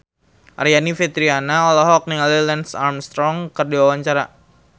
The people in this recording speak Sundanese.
Aryani Fitriana olohok ningali Lance Armstrong keur diwawancara